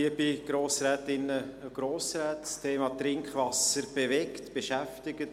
Das Thema Trinkwasser bewegt, beschäftigt.